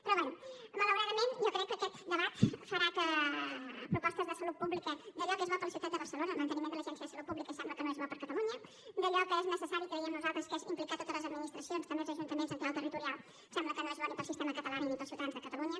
però bé malauradament jo crec que aquest debat farà propostes de salut pública d’allò que és bo per a la ciutat de barcelona el manteniment de l’agència de salut pública sembla que no és bo per a catalunya d’allò que és necessari creiem nosaltres que és implicar totes les administracions també els ajuntaments en clau territorial sembla que no és bo ni per al sistema català ni per als ciutadans de catalunya